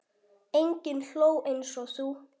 Enginn hló eins og þú.